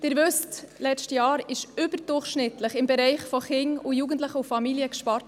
Sie wissen: Letztes Jahr wurde überdurchschnittlich im Bereich Kinder, Jugendliche und Familien gespart.